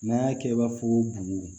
N'an y'a kɛ i b'a fɔ ko bugu